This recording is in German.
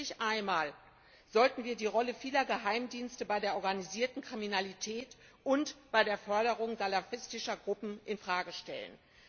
Und endlich einmal sollten wir die Rolle vieler Geheimdienste bei der organisierten Kriminalität und bei der Förderung salafistischer Gruppen in Frage stellen.